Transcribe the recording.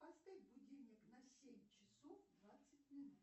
поставь будильник на семь часов двадцать минут